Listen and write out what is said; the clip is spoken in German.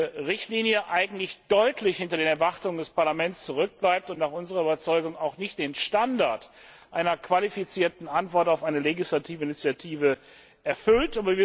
14. Richtlinie eigentlich deutlich hinter den Erwartungen des Parlaments zurückbleibt und nach unserer Überzeugung auch nicht den Standard einer qualifizierten Antwort auf eine legislative Initiative erfüllt.